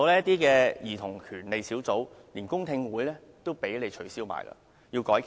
還有兒童權利小組委員會的公聽會也被你們取消，必須改期。